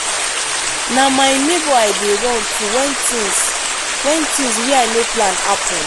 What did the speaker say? na my nebor i dey run to wen tins wen tins wey i no plan happen.